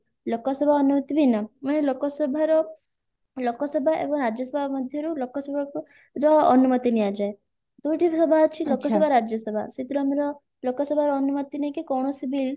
ଲୋକସଭା ଅନୁମତି ବିନା ମାନେ ଲୋକସଭାର ଲୋକସଭା ଏବଂ ରାଜ୍ୟସଭା ମଧ୍ୟରୁ ଲୋକସଭାକୁ ର ଅନୁମତି ନିଆଯାଏ ଦୁଇଟା ବିଭାଗ ଅଛି ଲୋକସଭା ରାଜ୍ୟସଭା ସେଥିରୁ ଆମର ଲୋକସଭାର ଅନୁମତି ନେଇକି କୌଣସି bill